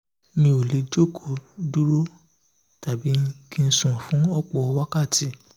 mi ò lè jókòó dúró tàbí kí n sùn fún ọ̀pọ̀ wákàtí